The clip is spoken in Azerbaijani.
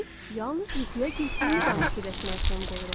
Biz yalnız yuxuya getdiyimiz an fikirləşməyə son qoyuruq.